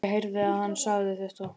Og ég heyrði að hann sagði þetta.